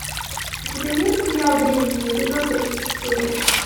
у тебя есть сериал древние эпизод тридцать четыре